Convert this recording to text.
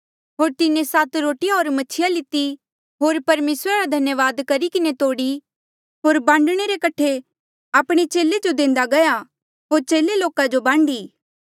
होर तिन्हें सात रोटिया होर मछिया लिती होर परमेसरा रा धन्यावाद करी किन्हें तोड़ी होर बांडणे रे कठे आपणे चेले जो देंदा गया होर चेले लोका जो बांडी